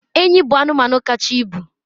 enyi bụ anụmanụ kacha ibu